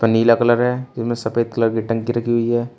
नीला colour है इनमें सफेद कलर की टंकी रखी हुई है।